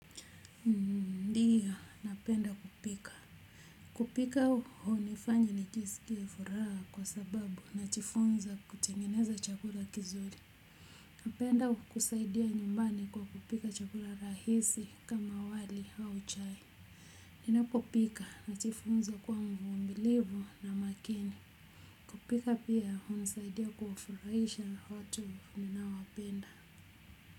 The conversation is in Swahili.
Ndiyo napenda kupika, kupika hunifanya nijisikie furaha, kwa sababu najifunza kutengeneza chakula kizuri napenda kusaidia nyumbani kwa kupika chakula rahisi, kama wali au chai. Ninapopika, najifunza kuwa mvumilivu na makini kupika pia, hunisaidia kufuraisha watu ninaowapenda.